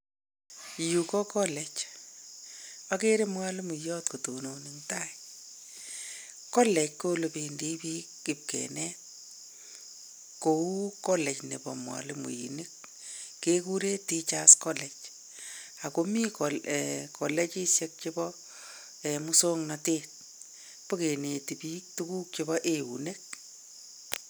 Yu ko college. Ogere mwalimuyot katonon en tai. college ko olebendi biik ibkineet. Kou college nebo mwalimuinik kekuren Teachers College ago mi collegishek chebo muswoknotet bokineti biik tuguk cheboo eunek.